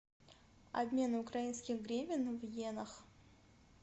обмен украинских гривен в йенах